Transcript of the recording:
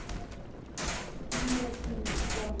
Nýir tímar komu.